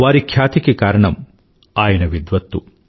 వారి ఖ్యాతికి కారణం ఆయన విద్వత్తు